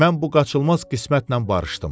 mən bu qaçılmaz qismətlə barışdım.